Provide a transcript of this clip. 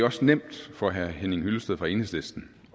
er også nemt for herre henning hyllested fra enhedslisten